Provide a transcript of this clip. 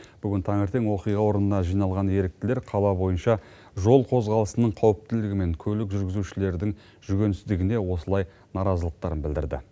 бүгін таңертең оқиға орнына жиналған еріктілер қала бойынша жол қозғалысының қауіптілігі мен көлік жүргізушілердің жүгенсіздігіне осылай наразылықтарын білдірді